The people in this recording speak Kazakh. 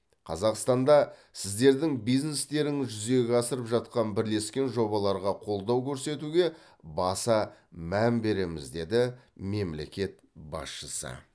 қазақстанда сіздердің бизнестеріңіз жүзеге асырып жатқан бірлескен жобаларға қолдау көрсетуге баса мән береміз деді мемлекет басшысы